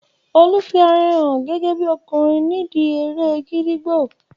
Olu fi ara rẹ hàn gẹ́gẹ́bí ọkùnrin ní ìdíi eré ẹkẹ